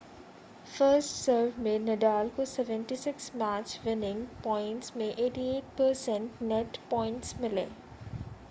first serve में Nadal को 76 match winning points में 88% नेट पॉइंट्स मिले